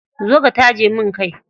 Zo ka taje min kai.